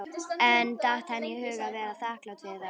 En datt henni í hug að vera þakklát fyrir það?